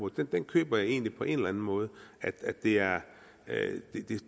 den køber jeg egentlig på en eller en måde det er